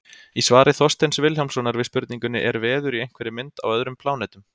Í svari Þorsteins Vilhjálmssonar við spurningunni Er veður í einhverri mynd á öðrum plánetum?